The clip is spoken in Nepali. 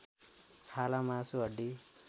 छाला मासु हड्डी